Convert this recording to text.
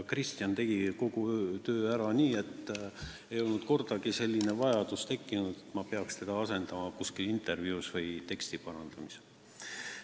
Kristjan tegi kogu töö ära, nii et ei tekkinud kordagi vajadust, et ma oleksin pidanud teda asendama intervjuud andes või teksti parandamisel.